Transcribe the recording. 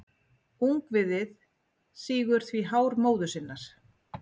Ungviðið sýgur því hár móður sinnar.